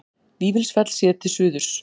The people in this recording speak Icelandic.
Vífilsfell séð til suðurs.